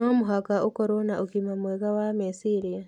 No mũhaka ũkorũo na ũgima mwega wa meciria.